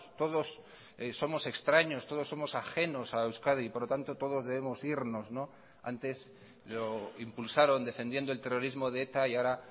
todos somos extraños todos somos ajenos a euskadi y por lo tanto todos debemos irnos antes lo impulsaron defendiendo el terrorismo de eta y ahora